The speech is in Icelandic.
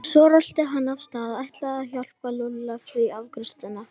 Svo rölti hann af stað, ætlaði að hjálpa Lúlla við afgreiðsluna.